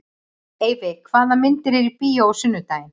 Eyfi, hvaða myndir eru í bíó á sunnudaginn?